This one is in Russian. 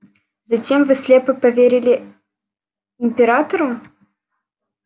затем вы слепо поверили императору